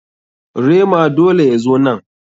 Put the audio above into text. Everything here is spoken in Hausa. Rema dole ya zo nan.